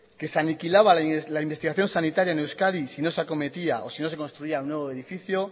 que se aniquilaba la investigación sanitaria en euskadi si no se acometía o si no se construía un nuevo edificio